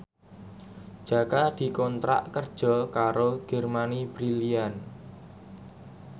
Jaka dikontrak kerja karo Germany Brilliant